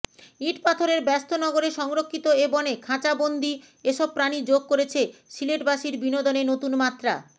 ইটপাথরের ব্যস্ত নগরে সংরক্ষিত এ বনে খাঁচাবন্দি এসব প্রাণী যোগ করেছে সিলেটবাসীর বিনোদনে নতুন মাত্রা